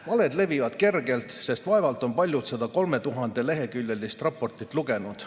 Valed levivad kergelt, sest vaevalt on paljud seda 3000‑leheküljelist raportit lugenud.